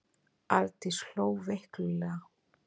Arndís hló veiklulega.